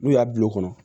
N'u y'a bil'o kɔnɔ